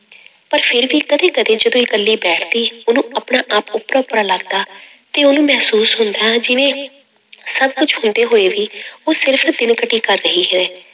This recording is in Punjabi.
ਪਰ ਫਿਰ ਵੀ ਕਦੇ ਕਦੇ ਜਦੋਂ ਇਕੱਲੀ ਬੈਠਦੀ ਉਹਨੂੰ ਆਪਣਾ ਆਪ ਓਪਰਾ ਓਪਰਾ ਲੱਗਦਾ ਤੇ ਉਹਨੂੰ ਮਹਿਸੂਸ ਹੁੰਦਾ ਜਿਵੇਂ ਸਭ ਕੁੱਝ ਹੁੰਦੇ ਹੋਏ ਵੀ ਉਹ ਸਿਰਫ਼ ਦਿਨ ਕਟੀ ਕਰ ਰਹੀ ਹੈ।